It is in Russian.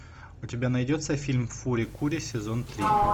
у тебя найдется фильм фури кури сезон три